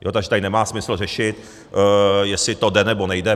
Takže tady nemá smysl řešit, jestli to jde, nebo nejde.